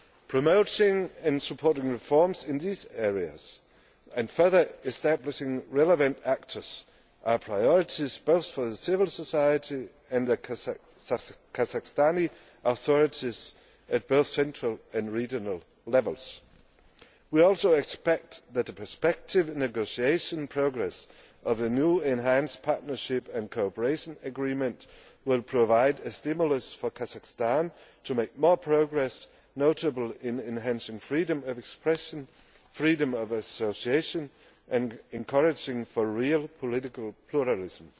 Promoting and supporting reforms in these areas, and further establishing relevant actors, are priorities both for civil society and the Kazakhstani authorities, at both central and regional levels. We also expect that the perspective and negotiation process of the new Enhanced Partnership and Cooperation Agreement will provide a stimulus for Kazakhstan to make more progress, notably in enhancing freedom of expression and freedom of association and encouraging real political pluralism.